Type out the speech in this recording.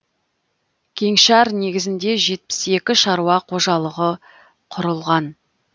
кеңшар негізінде жетпіс екі шаруа қожалығы құрылған